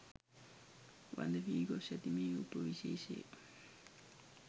වඳ වී ගොස් ඇති මේ උපවිශේෂය